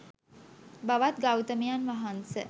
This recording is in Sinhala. භවත් ගෞතමයන් වහන්ස